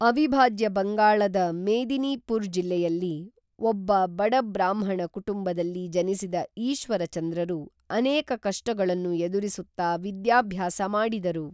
ಅವಿಭಾಜ್ಯ ಬಂಗಾಳದ ಮೇದಿನೀಪೂರ್ ಜಿಲ್ಲೆಯಲ್ಲಿ ಒಬ್ಬ ಬಡ ಬ್ರಾಹ್ಮಣ ಕುಟುಂಬದಲ್ಲಿ ಜನಿಸಿದ ಈಶ್ವರಚಂದ್ರರು ಅನೇಕ ಕಷ್ಟಗಳನ್ನು ಎದುರಿಸುತ್ತಾ ವಿದ್ಯಾಭ್ಯಾಸ ಮಾಡಿದರು